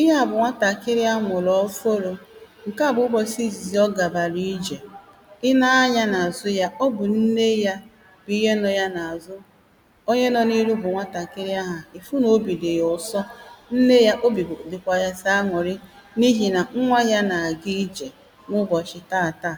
Ihe à bụ nwatàkiri amụ̀rụ̀ ofụrụ, Ǹke á bụ ụbọ̀chị ìzìzì ọ gàbàrà ijè I neē anya n’ àzụ ya ọ bụ nne ya Bụ ihe nọ ya n’ àzụ Onye nọ n’ iru bụ nwatàkiri ahụ̀ Fụ n’ obì dị̀ yà ụ̀sọ Nne ya, obì bụ dikwà yà sọ̀ an̄ụ̀ri N’ ihì nà nwa ya na-àga ijè N’ ụbọ̀chị taātaā,